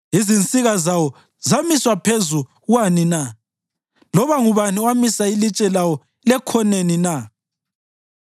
Izinsika zawo zamiswa phezu kwani na, loba ngubani owamisa ilitshe lawo lekhoneni na